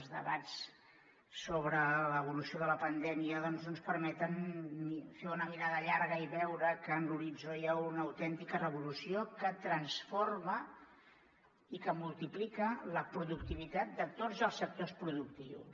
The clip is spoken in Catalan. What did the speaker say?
els debats sobre l’evolució de la pandèmia doncs no ens permeten fer una mirada llarga i veure que en l’horitzó hi ha una autèntica revolució que transforma i que multiplica la productivitat de tots els sectors productius